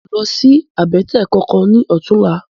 Mi ó lòsi àbètè kánkán lòtúnlá